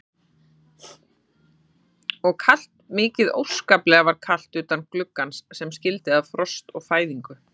Og kalt, mikið óskaplega var kalt utan gluggans sem skildi að frost og fæðingu.